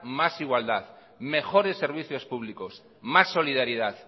más igualdad mejores servicios públicos más solidaridad